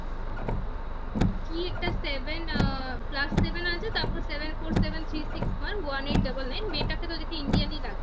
কি একটা seven plus seven আছে তারপর seven Four seven Three Six one Eight double Nine এটা কে দেখে তো indian ই তো লাগলো